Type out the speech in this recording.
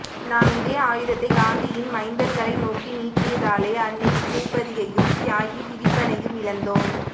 நாம் இதே ஆயுதத்தை காந்தியின் மைந்தர்களை நோக்கி நீட்டியதாலே அன்னை பூபதியையும் தியாகி திலீபனையும் இழந்தோம்